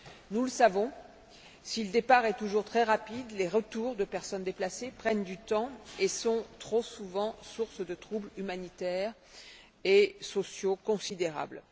Nous le savons, si le départ est toujours très rapide, les retours de personnes déplacées prennent du temps et sont trop souvent sources de troubles humanitaires et sociaux considérables.